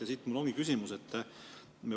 Ja siit mul ongi küsimus.